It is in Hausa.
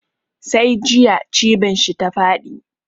Sai jiya cibin shi ta faɗi.